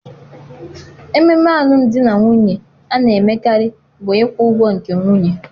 Ememe alụmdi na nwunye a na-emekarị bụ ịkwụ ụgwọ nke nwunye.